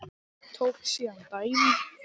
Tók síðan dæmi: